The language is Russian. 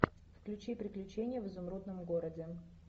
включи приключения в изумрудном городе